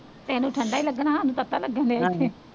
ਤੈਨੂੰ ਠੰਡਾ ਹੀ ਲੱਗਣਾ ਹੋਰ ਤੱਤਾ ਲੱਗਣ ਡੇ